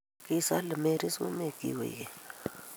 kisale Mary sumekchik koek keny